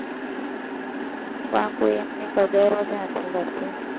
તા કોઈ એમની કદર જ નથી કરતુ,